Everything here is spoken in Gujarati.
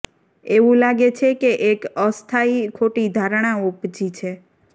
એવુ લાગે છે કે એક અસ્થાયી ખોટી ધારણા ઉપજી છે